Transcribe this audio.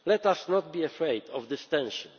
further actions. Let us not be afraid